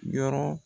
Yɔrɔ